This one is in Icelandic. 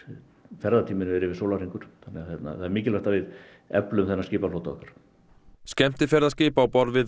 ferðatíminn verið yfir sólarhringur þannig að það er mikilvægt að við eflum þennan skipaflota okkar skemmtiferðaskip á borð við